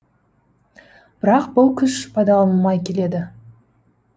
бірақ бұл күш пайдаланылмай келеді